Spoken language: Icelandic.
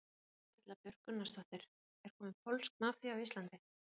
Erla Björg Gunnarsdóttir: Er komin pólsk mafía á Íslandi?